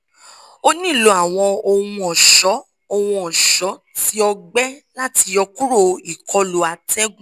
o nilo awọn ohun-ọṣọ ohun-ọṣọ ti ọgbẹ lati yọkuro ikolu atẹgun